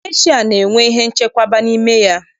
Gesha na-enwe ihe nchekwaba n'ime ya.